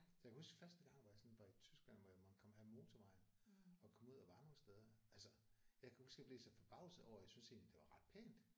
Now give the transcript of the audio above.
Jeg kan huske første gang hvor jeg sådan var i Tyskland hvor jeg måtte komme af motorvejen og kom ud og var nogle steder altså jeg kan huske jeg blev så forbavset over jeg synes egentlig det var ret pænt